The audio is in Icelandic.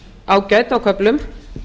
ágæt á köflum